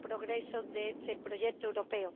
progresos de este proyecto europeo.